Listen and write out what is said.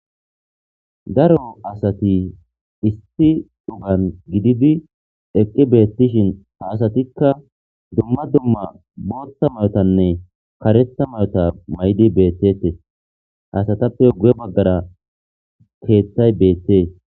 Daro asathi issi sohuwan gididi eqqi beeththishi ha asathikka dumma dumma booththa maayothanne kareththa maayotha maayidi beeththeeththes; ha asathappe guye baggara keeththay beeththees.